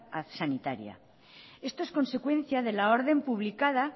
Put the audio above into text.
sanitaria esto es consecuencia de la orden publicada